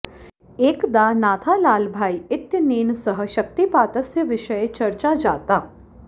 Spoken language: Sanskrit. एकदा नाथालालभाई इत्यनेन सह शक्तिपातस्य विषये चर्चा जाता